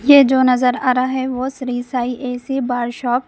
ये जो नजर आ रहा है वो Shri Sai AC bar shop --